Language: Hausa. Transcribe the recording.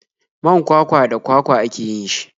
Man kwakwa da kwakwa ake yin shi.